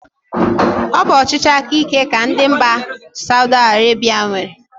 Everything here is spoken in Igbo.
Ọ bụ ọchịchị aka íké ka ndị mba Saudi Arebia nwere.